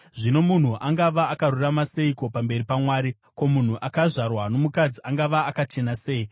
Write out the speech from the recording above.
Zvino munhu angava akarurama seiko pamberi paMwari? Ko, munhu akazvarwa nomukadzi angava akachena sei?